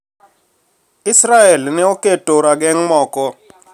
Israel ne oketo rageng` moko